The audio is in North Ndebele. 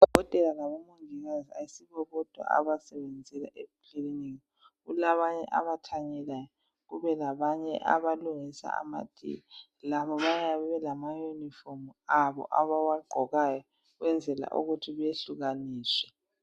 Odokotela labomongikazi ayisibo bodwa abasebenzela ekilinika kulabanye abathanyelayo, kube labanye abalungisa amatiye. Labo bayabe belamayunifomu abo abawagqokayo ukwenzela ukuthi behlukaniswe.